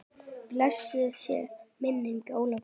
Blessuð sé minning Ólafar.